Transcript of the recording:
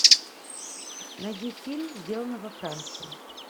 найди фильм сделано во франции